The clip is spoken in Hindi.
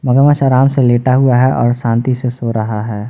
मगरमच्छ आराम से लेटा हुआ है और शांति से सो रहा है।